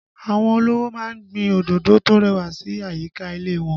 Àwọn olówó ma ń gbin òdòdó tó rẹwà sí àyíká ilé wọn